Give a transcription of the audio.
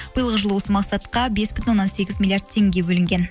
биылғы жылы осы мақсатқа бес бүтін оннан сегіз миллиард теңге бөлінген